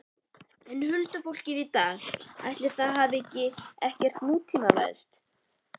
En huldufólkið í dag, ætli það hafi ekkert nútímavæðst?